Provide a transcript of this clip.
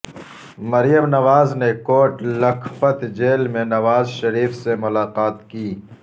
مریم نواز نے کوٹ لکھپت جیل میں نوازشریف سے ملاقات کی